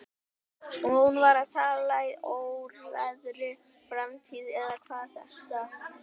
Hún var að tala í óræðri framtíð eða hvað þetta heitir.